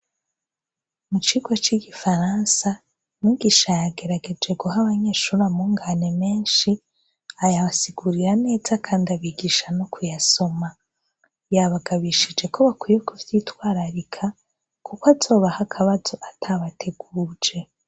Mu kigo c'igifaransa, mwigisha yagerageje guha abanyeshuri amungane menshi ayabasigurira neza kandi abigisha no kuyasoma, yabagabishije ko bakwiye kuvyitwararika kuko azobaha akabazo atabateguje.